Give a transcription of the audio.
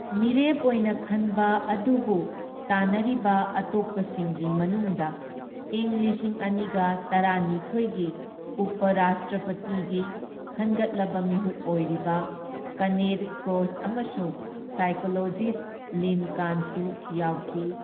ꯃꯤꯔꯦꯞ ꯑꯣꯏꯅ ꯈꯟꯕ ꯑꯗꯨꯕꯨ ꯇꯥꯟꯅꯔꯤꯕ ꯑꯇꯣꯞꯄꯁꯤꯡꯒꯤ ꯃꯅꯨꯡꯗ ꯏꯪ ꯂꯤꯁꯤꯡ ꯑꯅꯤꯒ ꯇꯔꯥꯅꯤꯊꯣꯢꯒꯤ ꯎꯄ ꯔꯥꯁꯇ꯭ꯔꯄꯇꯤꯒꯤ ꯈꯟꯒꯠꯂꯕ ꯃꯤꯍꯨꯠ ꯑꯣꯏꯔꯤꯕ ꯀꯦꯅꯦꯊ ꯀ꯭ꯔꯣꯁ ꯑꯃꯁꯨꯡ ꯁꯥꯏꯀꯣꯂꯣꯖꯤꯁꯠ ꯂꯤꯟ ꯀꯥꯟꯁꯨ ꯌꯥꯎꯈꯤ꯫